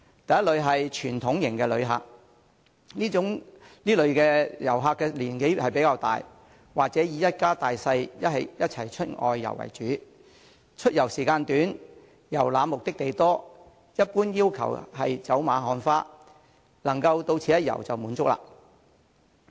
第一類是傳統型遊客，此類遊客年紀較大，或以一家大小一起外遊為主，出遊時間短，遊覽目的地多，一般要求是走馬看花、能到此一遊便滿足。